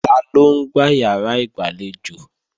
Taló ń gbá ìyàrá ìgbàlejò?